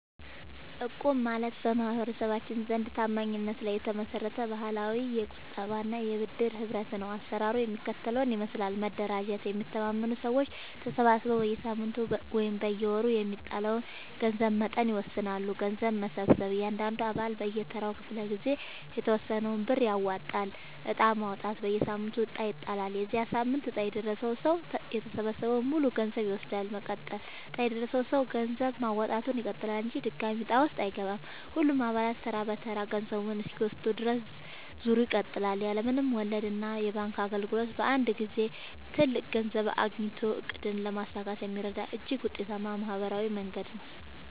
እቁብ ማለት በማህበረሰባችን ዘንድ ታማኝነት ላይ የተመሰረተ ባህላዊ የቁጠባና የብድር ህብረት ነው። አሰራሩ የሚከተለውን ይመስላል፦ መደራጀት፦ የሚተማመኑ ሰዎች ተሰባስበው በየሳምንቱ ወይም በየወሩ የሚጣለውን የገንዘብ መጠን ይወስናሉ። ገንዘብ መሰብሰብ፦ እያንዳንዱ አባል በየተራው ክፍለ-ጊዜ የተወሰነውን ብር ያዋጣል። ዕጣ ማውጣት፦ በየሳምንቱ ዕጣ ይጣላል። የዚያ ሳምንት ዕጣ የደረሰው ሰው የተሰበሰበውን ሙሉ ገንዘብ ይወስዳል። መቀጠል፦ ዕጣ የደረሰው ሰው ገንዘብ ማዋጣቱን ይቀጥላል እንጂ ድጋሚ ዕጣ ውስጥ አይገባም። ሁሉም አባላት ተራ በተራ ገንዘቡን እስኪወስዱ ድረስ ዙሩ ይቀጥላል። ያለ ምንም ወለድና የባንክ እንግልት በአንድ ጊዜ ትልቅ ገንዘብ አግኝቶ ዕቅድን ለማሳካት የሚረዳ እጅግ ውጤታማ ማህበራዊ መንገድ ነው።